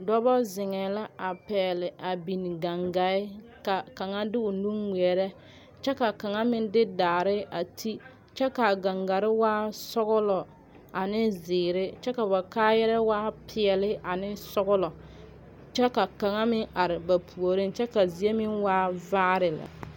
Dɔba zeŋɛ la a pɛgele gangaa ka kaŋa de o nu a ŋmeɛre ne kyɛ ka kaŋ meŋ de daare a ti kyɛ kaa gangare waa sɔglɔ ane zeɛre kyɛ ba kaayaa waa pɛɛle ane sɔglɔ kyɛka kaŋa meŋ are ba puoriŋ kyɛ ka zie meŋ waa vaare lɛ.